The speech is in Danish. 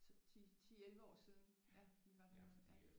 10 11 år siden vi var dernede ja